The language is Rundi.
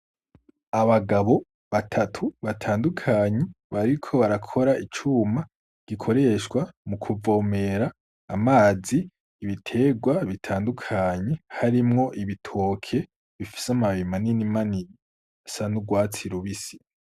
Abagabo batatu batandukanye bariko barakora icuma gikoreshwa mukuvomera amazi ibiterwa bitandukanye , harimwo ibitoke bifise amababi manini manini harimwo n’urwatsi rubisi .